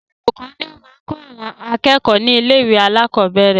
Olùkọ́ ni ó máa kọ àwọn akẹ́kọ̀ọ́ ni ilé ìwé alakọ̀bẹ́ẹ́rẹ̀